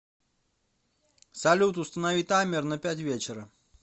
салют установи таймер на пять вечера